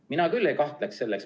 Mina küll ei kahtleks selles.